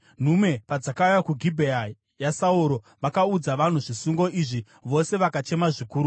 Nhume padzakauya kuGibhea yaSauro vakaudza vanhu zvisungo izvi vose vakachema zvikuru.